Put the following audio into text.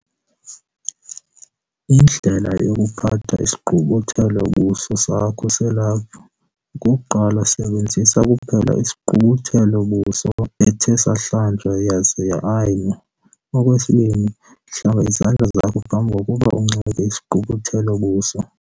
Indlela yokuphatha isigqubuthelo-buso sakho selaphu. 1. Sebenzisa kuphela sigqubuthelo-buso ethe sahlanjwa yaza ya-ayinwa. 2. Hlamba izandla zakho phambi kokuba unxibe sigqubuthelo-buso.